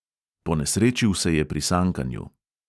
Ponesrečil se je pri sankanju.